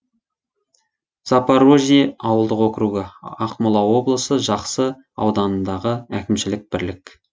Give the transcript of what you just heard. запорожье ауылдық округі ақмола облысы жақсы ауданындағы әкімшілік бірлік